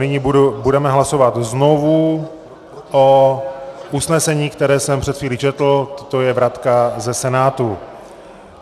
Nyní budeme hlasovat znovu o usnesení, které jsem před chvílí četl - to je vratka ze Senátu.